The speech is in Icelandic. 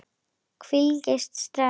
Hvílíkt stress!